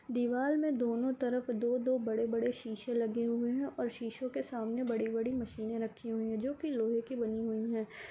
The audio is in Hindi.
दीवाल में दोनों तरफ दो-दो बड़े-बड़े शीशे लगे हुए हैं और शीशो के सामने बड़ी-बड़ी मशीने रखी हुई है जो की लोहे की बनी हुई है।